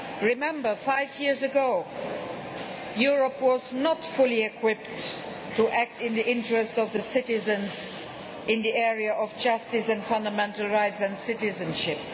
Remember five years ago Europe was not fully equipped to act in the interests of the citizens in the area of justice and fundamental rights and citizenship.